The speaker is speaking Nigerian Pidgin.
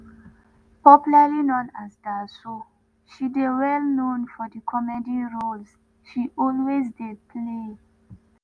popularly known as daso she dey well known for di comedy roles she always dey play.